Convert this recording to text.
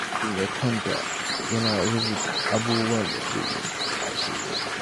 Kafin ya kwanta, yana rubuta abubuwan da zai yi washegari.